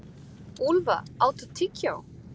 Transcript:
Úlfa, áttu tyggjó?